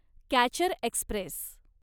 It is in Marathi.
catcher Express